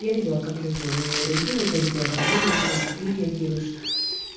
я видела как люди на него реагирует я видела как вы реагируете ты реагируешь